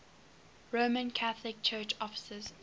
roman catholic church offices